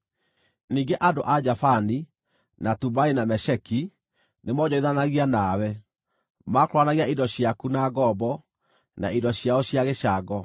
“ ‘Ningĩ andũ a Javani, na Tubali, na Mesheki nĩmoonjorithanagia nawe; maakũũranagia indo ciaku na ngombo, na indo ciao cia gĩcango.